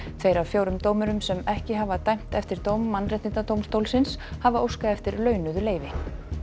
tveir af fjórum dómurum sem ekki hafa dæmt eftir dóm Mannréttindadómstólsins hafa óskað eftir launuðu leyfi